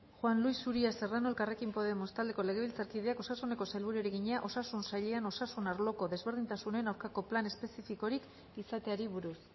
juan luis uria serrano elkarrekin podemos taldeko legebiltzarkideak osasuneko sailburuari egina osasun sailean osasun arloko desberdintasunen aurkako plan espezifikorik izateari buruz